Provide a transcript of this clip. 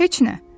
Heç nə.